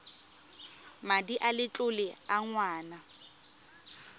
madi a letlole a ngwana